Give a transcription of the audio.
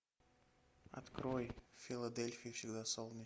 открой в филадельфии всегда